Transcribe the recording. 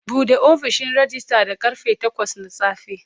Bude ofishin rejista da karfe takwas na safe.